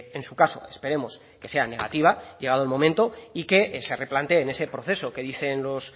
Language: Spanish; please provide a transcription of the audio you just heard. en su caso esperemos que sea negativa llegado el momento y que se replanteen ese proceso que dicen los